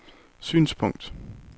synspunkt